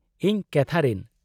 -ᱤᱧ ᱠᱮᱛᱷᱟᱨᱤᱱ ᱾